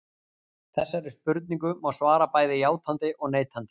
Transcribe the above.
Þessari spurningu má svara bæði játandi og neitandi.